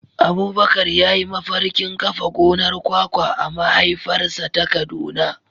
Abubakar ya yi mafarkin kafa gonar kwakwa a mahaifarsa ta Kaduna.